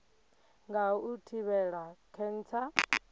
nga ha u thivhela khentsa